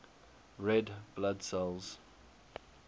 red blood cells